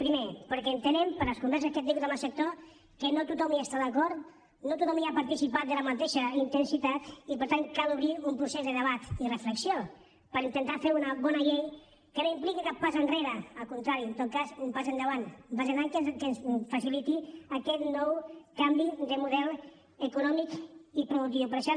primer perquè entenem per les converses que hem tingut amb el sector que no tothom hi està d’acord no tothom hi ha participat amb la mateixa intensitat i per tant cal obrir un procés de debat i reflexió per intentar fer una bona llei que no impliqui cap pas enrere al contrari en tot cas un pas endavant un pas endavant que ens faciliti aquest nou canvi de model econòmic i productiu